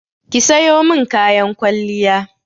Ki sayo min kayan kwalliya!